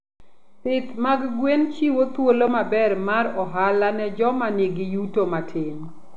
Pith mag gwen chiwo thuolo maber mar ohala ne joma nigi yuto matin.